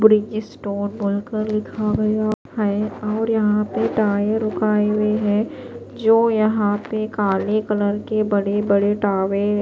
bridge stone बोलकर लिखा हुआ है और यहां पे टायर रुकाये हुए है जो यहां पेकाले कलर के बड़े-बड़े टावे--